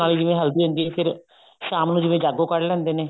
ਨਾਲ ਜਿਵੇਂ ਹਲਦੀ ਹੁੰਦੀ ਹੈ ਫੇਰ ਸ਼ਾਮ ਨੂੰ ਜਿਵੇਂ ਜਾਗੋ ਕੱਢ ਲਿੰਦੇ ਨੇ